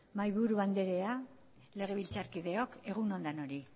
mahaiburu anderea legebiltzarkideok egun on denoi